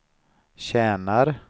tjänar